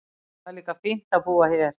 Það er líka fínt að búa hér.